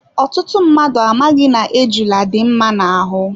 Ọtụtụ mmadụ amaghị na ejula dị mma na ahụ.